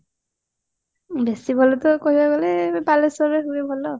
ବେଶି ଭଲ ତ କହିବାକୁ ଗଲେ ବାଲେଶ୍ଵରରେ ହୁଏ ଭଲ